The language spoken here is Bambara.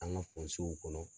An ka fɔnsew kɔnɔ